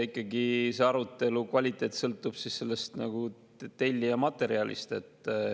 Eks arutelu kvaliteet sõltub ikkagi tellija materjalist.